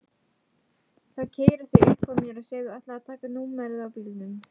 Þá keyra þau uppað mér og segja ætlaðir þú að taka númerið á bílnum?